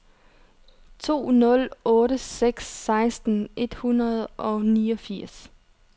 to nul otte seks seksten et hundrede og niogfirs